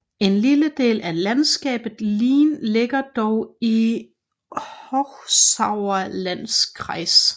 En lille del af landskabet ligger dog i Hochsauerlandkreis